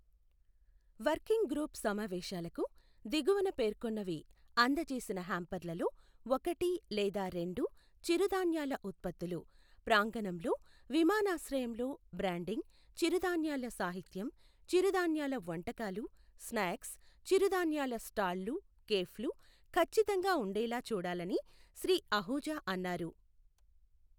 Working group సమావేశాలకు, దిగువన పేర్కొన్నవి అందచేసిన హ్యాంపర్లలో ఒకటి లేదా రెండు చిరుధాన్యాల ఉత్పత్తులు, ప్రాంగణంలో, విమానాశ్రయంలో బ్రాండింగ్, చిరుధాన్యాల సాహిత్యం, చిరుధాన్యాల వంటకాలు స్నాక్స్, చిరుధాన్యాల స్టాళ్ళు కేఫ్లు ఖచ్చితంగా ఉండేలా చూడాలని శ్రీ అహూజా అన్నారు.